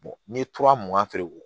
n ye tura mugan feere